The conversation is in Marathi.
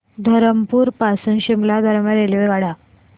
धरमपुर पासून शिमला दरम्यान रेल्वेगाड्या